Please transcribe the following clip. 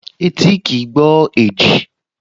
Etí kìí gbọ́ èjì